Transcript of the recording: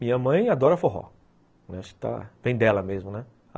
Minha mãe adora forró, vem dela mesmo, né?